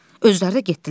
Özləri də getdilər.